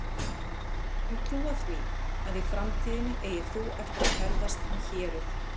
Við skulum trúa því, að í framtíðinni eigir þú eftir að ferðast um héruð